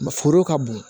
Foro ka bon